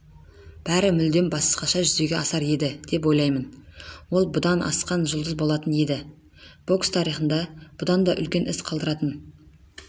бәрі мүлдем басқаша жүзеге асар еді деп ойлаймын ол бұдан асқан жұлдыз болатын еді бокс тарихында бұдан да үлкен із қалдыратын